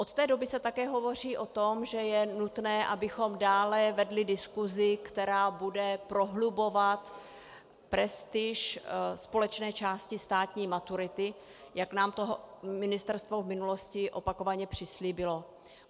Od té doby se také hovoří o tom, že je nutno, abychom dále vedli diskusi, která bude prohlubovat prestiž společné části státní maturity, jak nám to ministerstvo v minulosti opakovaně přislíbilo.